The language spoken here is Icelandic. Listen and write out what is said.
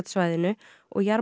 svæðinu og